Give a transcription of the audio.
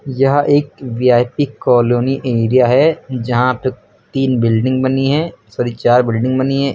यह एक V I P colony area है यहां पे तीन बिल्डिंग बनी हैं सॉरी चार बिल्डिंग बनी हैं।